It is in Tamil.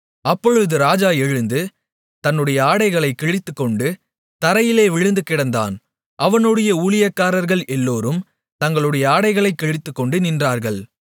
அப்பொழுது ராஜா எழுந்து தன்னுடைய ஆடைகளைக் கிழித்துக்கொண்டு தரையிலே விழுந்து கிடந்தான் அவனுடைய ஊழியக்காரர்கள் எல்லோரும் தங்களுடைய ஆடைகளைக் கிழித்துக்கொண்டு நின்றார்கள்